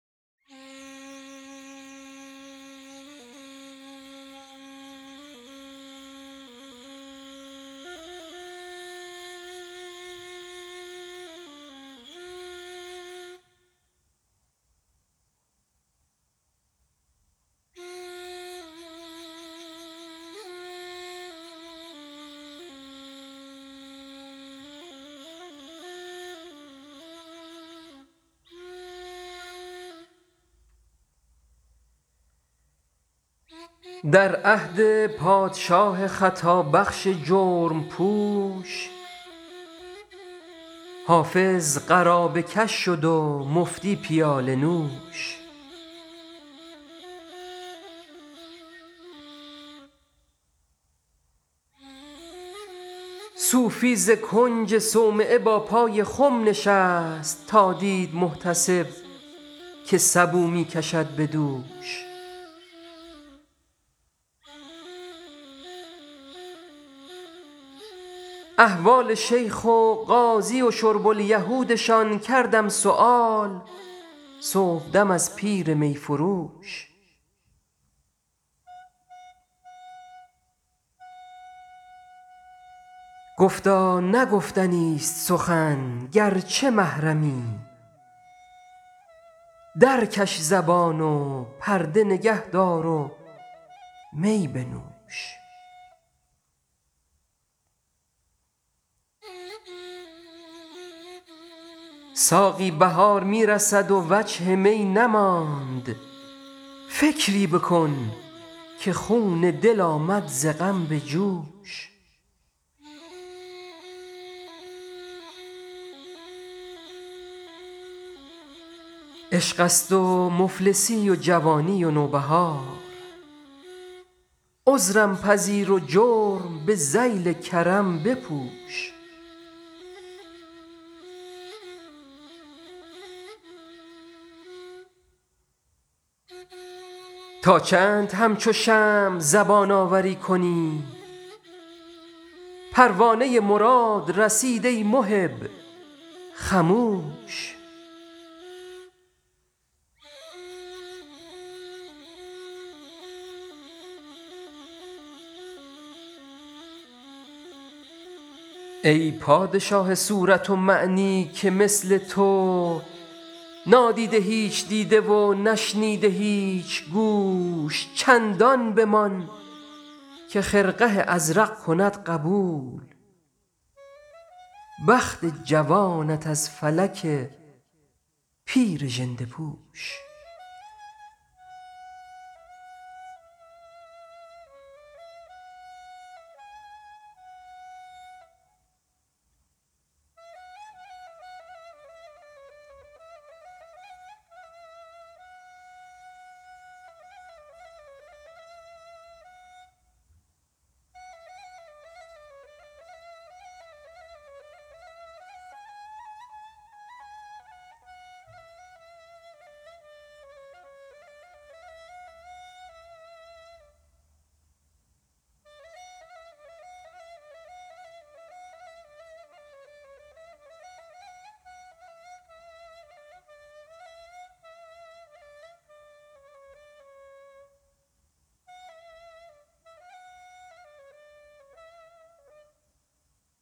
در عهد پادشاه خطابخش جرم پوش حافظ قرابه کش شد و مفتی پیاله نوش صوفی ز کنج صومعه با پای خم نشست تا دید محتسب که سبو می کشد به دوش احوال شیخ و قاضی و شرب الیهودشان کردم سؤال صبحدم از پیر می فروش گفتا نه گفتنیست سخن گرچه محرمی درکش زبان و پرده نگه دار و می بنوش ساقی بهار می رسد و وجه می نماند فکری بکن که خون دل آمد ز غم به جوش عشق است و مفلسی و جوانی و نوبهار عذرم پذیر و جرم به ذیل کرم بپوش تا چند همچو شمع زبان آوری کنی پروانه مراد رسید ای محب خموش ای پادشاه صورت و معنی که مثل تو نادیده هیچ دیده و نشنیده هیچ گوش چندان بمان که خرقه ازرق کند قبول بخت جوانت از فلک پیر ژنده پوش